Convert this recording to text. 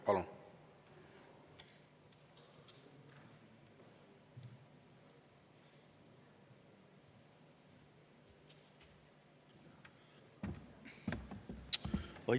Palun!